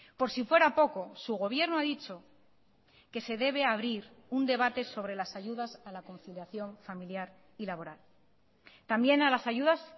por si fuera poco su gobierno ha dicho que se debe abrir un debate sobre las ayudas a la conciliación familiar y laboral también a las ayudas